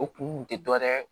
O kun tɛ dɔ wɛrɛ ye